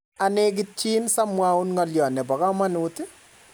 anegitchin sa mwaun ngalyo nebo kamanut